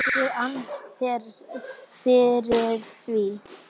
ég ann þér fyrir því.